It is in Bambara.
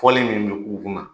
PɔlI min bɛ k'u kunna